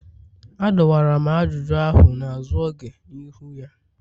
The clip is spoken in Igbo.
Adọwara m ajụjụ ahụ n'azụ oge n'ihu ya